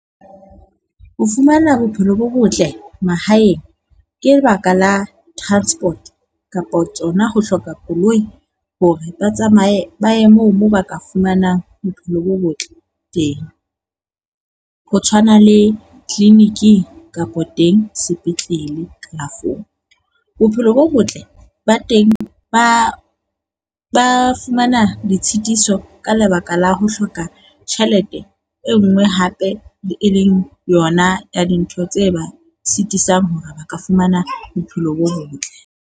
Ho fumana bophelo bo botle mahaeng ke lebaka la transport kapo tsona ho hloka koloi hore ba tsamaye ba ye moo moo ba ka fumanang bophelo bo botle teng. Ho tshwana le clinic-ing kapa teng sepetlele kalafong. Bophelo bo botle ba teng ba ba fumana ditshitiso ka lebaka la ho hloka tjhelete e nngwe hape le e leng yona ya dintho tse ba sitisang hore ba ka fumana bophelo bo botle.